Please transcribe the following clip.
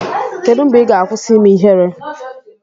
kedu mgbe ị ga-akwụsị ime ihere?